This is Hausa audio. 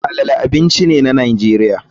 Moi moi abinci ne na nigeria.